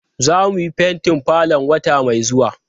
Zamu fentin falon wata mai zuwa.